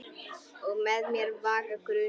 Og með mér vaknar grunur.